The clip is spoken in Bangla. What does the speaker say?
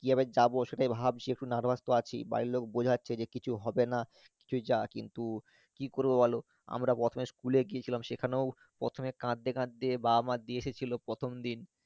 কিভাবে যাবো সেটাই ভাবছি একটু nervous তো আছি, বাড়ির লোক বোঝাচ্ছে যেকিছু হবে না তুই যা কিন্তু কি করবো বলো, আমরা প্রথমে school এ গিয়েছিলাম সেখানেও প্রথমও কাঁদতে কাঁদতে বাবা মা দিয়ে এসেছিলো প্রথমদিন